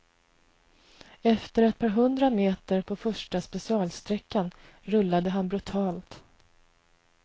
Efter ett par hundra meter på första specialsträckan rullade han brutalt.